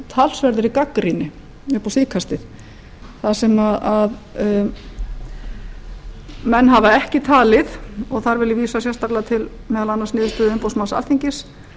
talsverðri gagnrýni upp á síðkastið þar sem menn hafa ekki talið og þar vil ég vísa sérstaklega til meðal annars umboðsmanns alþingis